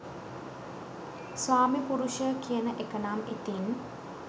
ස්වාමි පුරුෂය කියන එකනම් ඉතින්